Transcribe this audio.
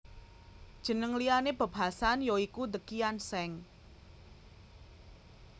Jeneng liyané Bob Hasan ya iku The Kian Seng